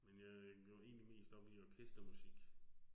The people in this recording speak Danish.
Men jeg går egentlig mest op i orkestermusik